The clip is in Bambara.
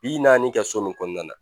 Bi naani kɛ so min kɔnɔna na.